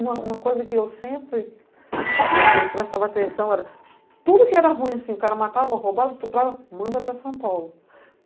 Uma coisa que eu sempre prestava atenção era, tudo que era ruim, o cara matava, roubava, estuprava, manda para São Paulo.